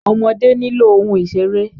Ọmọdé nílò ohun ìṣéré